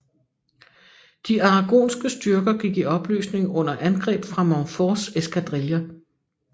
De aragonske styrker gik i opløsning under angreb fra Montforts eskadriller